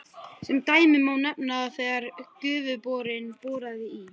Sem dæmi má nefna að þegar Gufuborinn boraði í